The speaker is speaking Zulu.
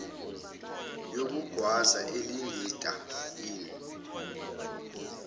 yokugwaza elingitta inn